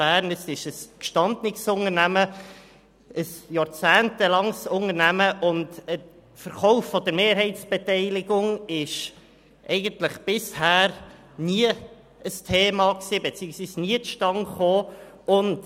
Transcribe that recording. Sie ist ein gestandenes, jahrzehntealtes Unternehmen, und ein Verkauf der Mehrheitsbeteiligung war bisher eigentlich nie ein Thema, beziehungsweise diese ist nie zustande gekommen.